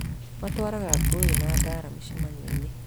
Matwaraga ngũĩ na mbara mĩcemanioinĩ